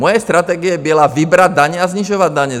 Moje strategie byla vybrat daně a snižovat daně.